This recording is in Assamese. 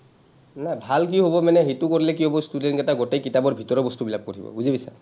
নাই, ভাল কি হ’ব মানে, সেইটো কৰিলে কি হ’ব, student কেইটাই গোটেই কিতাপৰ ভিতৰৰ বস্তুবিলাক পঢ়িব, বুজি পাইছা?